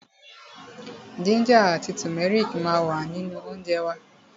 Jínjà àti tùmẹ́rìkì ma wà nínú óńjẹ wa.